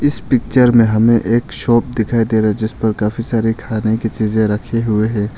इस पिक्चर में हमे एक शॉप दिखाई दे रहा है जिस पर काफी सारे खाने की चीजें रखी हुए हैं।